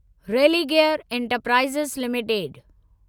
Religare Enterprises limited